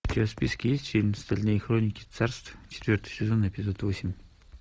у тебя в списке есть фильм стальные хроники царств четвертый сезон эпизод восемь